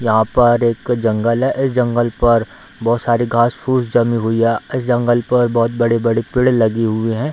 यहाँ पर एक जंगल है इस जंगल पर बहुत सारी घास फुस जमी हुई है | इस जंगल पर बहुत बड़े-बड़े पेड़ लगी हुए हैं |